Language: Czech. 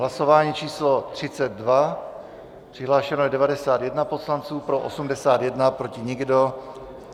Hlasování číslo 32, přihlášeno je 91 poslanců, pro 81, proti nikdo.